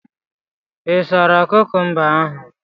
Ị sara kukumba ahụ?